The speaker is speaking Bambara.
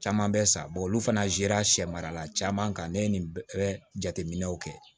Caman bɛ sa olu fana zera sɛ mara la caman kan ne ye nin bɛɛ jate minɛw kɛ